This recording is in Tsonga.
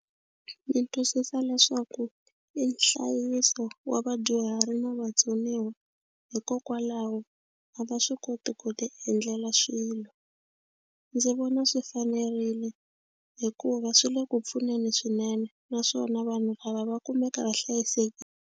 Ndzi twisisa leswaku i nhlayiso wa vadyuhari na vatsoniwa hikokwalaho a va swi koti ku tiendlela swilo. Ndzi vona swi fanerile hikuva swi le ku pfuneni swinene naswona vanhu lava va kumeka va .